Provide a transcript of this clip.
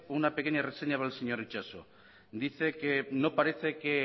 una pequeña reseña para el señor itxaso y dice que no parece que